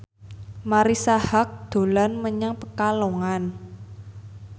Marisa Haque dolan menyang Pekalongan